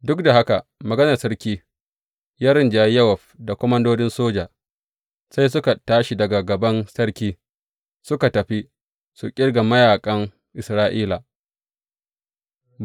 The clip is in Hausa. Duk da haka, maganar sarki ya rinjayi Yowab da komandodin soja, sai suka tashi daga gaban sarki, suka tafi su ƙirga mayaƙan Isra’ila.